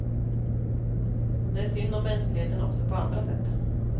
Det är synd om mänskligheten också på andra sätt.